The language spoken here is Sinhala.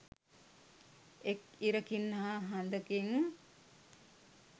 එක් ඉරකින් හා හඳකින්